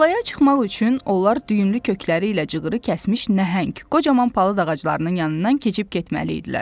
Talaya çıxmaq üçün onlar düyümlü kökləri ilə cığırı kəsmiş nəhəng, qocaman palıd ağaclarının yanından keçib getməli idilər.